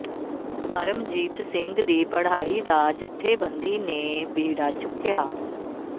ਪਰਮਜੀਤ ਸਿੰਘ ਦੀ ਪੜ੍ਹਾਈ ਦਾ ਜੱਥੇਬੰਦੀ ਨੇ ਬੀੜ੍ਹਾ ਚੁੱਕਿਆ